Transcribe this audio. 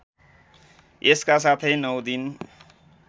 यसका साथै नौ दिन